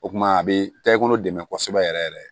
O kumana a bɛ taa i kɔnɔ dɛmɛ kosɛbɛ yɛrɛ yɛrɛ